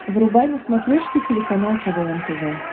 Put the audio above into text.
врубай на смотрешке телеканал квн тв